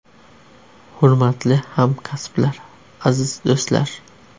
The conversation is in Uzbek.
Hurmatli hamkasblar, aziz do‘stlar!